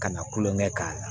Ka na kulon kɛ k'a la